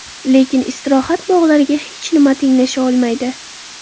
Lekin istirohat bog‘lariga hech nima tenglasha olmaydi.